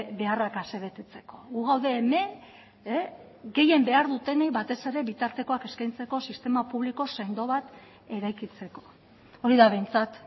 beharrak ase betetzeko gu gaude hemen gehien behar dutenei batez ere bitartekoak eskaintzeko sistema publiko sendo bat eraikitzeko hori da behintzat